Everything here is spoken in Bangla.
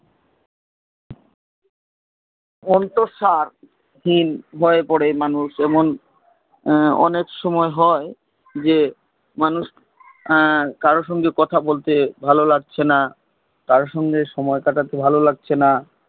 অন্তঃসারহীন হয় পরে মানুষ যেমন অনেক সময় হয় মানুষ কারোর সঙ্গে কথা বলতে ভালো লাগছে না কারোর সঙ্গে সময় কাটাতে ভালো লাগছে না